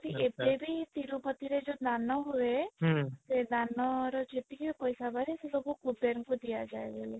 ଏବେ ବି ତିରୁପତି ରେ ଯୋଉ ଦାନ ହୁଏ ହୁଁ ସେ ଦାନ ର ଯେତିକି ବି ପଇସା ବାହାରେ ସେ ସବୁ କୁବେର ଙ୍କୁ ଦିଆ ଯାଏ ବୋଲି